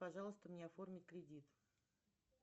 пожалуйста мне оформи кредит